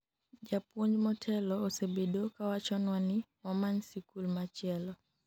japuonj motelo osebedo kawachonwa ni wamany sikul machielo